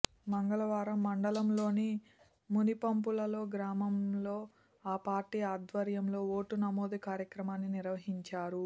మంగళవారం మండలంలోని మునిపంపులలో గ్రామంలో ఆ పార్టీ ఆధ్వర్యంలో ఓటు నమోదు కార్యక్రమాన్ని నిర్వహించారు